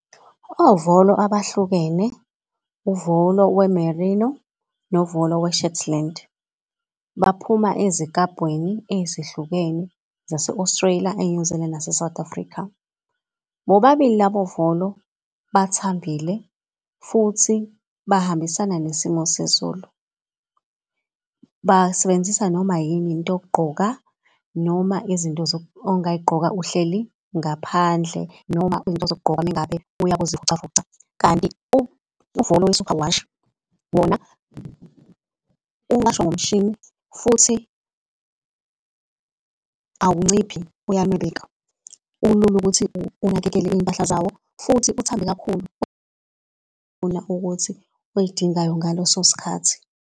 Ovolo abahlukene, uvolo we-merino novolo we-shetland, baphuma ezikabhweni ezihlukene zase-Australia, e-New zealand, nase-South Africa. Bobabili labo volo bathambile futhi bahambisana nesimo sezulu. Basebenzisa noma yini into yokugqoka noma izinto ongayigqoka uhleli ngaphandle noma izinto zokugqoka ume ngabe uya kuzivocavoca. Kanti uvolo we-superwash wona uwashwa ngomshini futhi awunciphi uyanwebeka. Ulula ukuthi unakekele iy'mpahla zawo futhi uthambe kakhulu ukuthi oyidingayo ngaleso sikhathi.